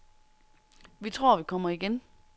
Vi tror, vi kommer igen.